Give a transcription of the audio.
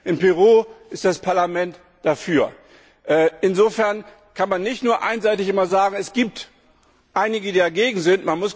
In Peru ist das Parlament dafür. Insofern kann man nicht immer nur einseitig sagen, es gibt einige, die dagegen sind.